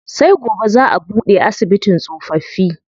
Sai gobe zaa a buɗe asibitin tsofaffi.